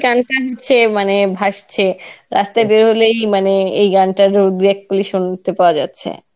গান টা হচ্ছে মানে ভাসছে রাস্তায় বেরোলেই মানে এই গানটার দু এক কলি শুনতে পাওয়া যাচ্ছে.